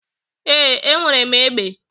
Ee, enwere m egbe.